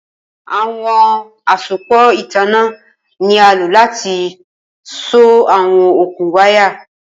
Awọn asopọ itanna ni a lo lati so awọn okun waya.